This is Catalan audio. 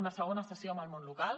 una segona sessió amb el món local